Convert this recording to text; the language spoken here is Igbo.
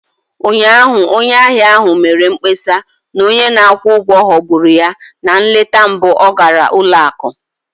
Ụnyaahụ, onye ahịa ahụ mere mkpesa na onye na-akwụ ụgwọ ghọgburu ya na nleta mbụ ọ gara ụlọ akụ